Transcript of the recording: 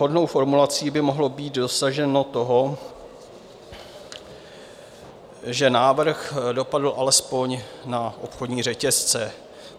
Vhodnou formulací by mohlo být dosaženo toho, že návrh dopadl alespoň na obchodní řetězce.